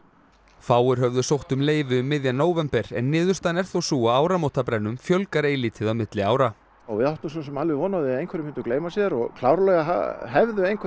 fáir höfðu sótt um leyfi um miðjan nóvember en niðurstaðan er þó sú að áramótabrennum fjölgar eilítið á milli ára við áttum svo sem alveg von á því að einhverjir myndu gleyma sér og klárlega hefðu einhverjir